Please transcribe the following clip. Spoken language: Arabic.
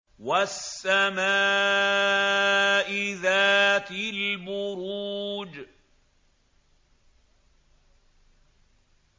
وَالسَّمَاءِ ذَاتِ الْبُرُوجِ